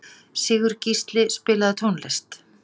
Sigurgísli, spilaðu tónlist.